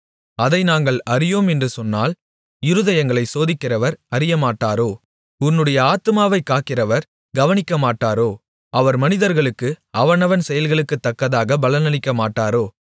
அதை நாங்கள் அறியோம் என்று சொன்னால் இருதயங்களைச் சோதிக்கிறவர் அறியமாட்டாரோ உன்னுடைய ஆத்துமாவைக் காக்கிறவர் கவனிக்கமாட்டாரோ அவர் மனிதர்களுக்கு அவனவன் செயல்களுக்கு தக்கதாகப் பலனளிக்கமாட்டாரோ